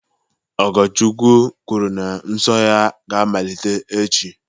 Ogochukwu kwuru na nsọ ya ga-amalite echi